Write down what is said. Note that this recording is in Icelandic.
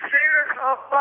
á